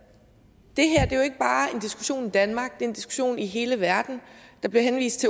diskussion i danmark det er en diskussion i hele verden der bliver henvist